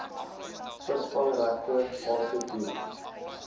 visvangsregte aansoek doen